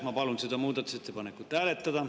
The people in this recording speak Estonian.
Ma palun seda muudatusettepanekut hääletada.